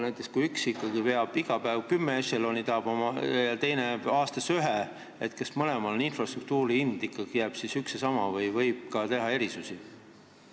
Näiteks, kui üks ikkagi veab iga päev kümme ešeloni ja teine aastas ühe, siis kas mõlemale jääb infrastruktuuri hind üks ja sama või võib sel juhul ikkagi teha erisusi?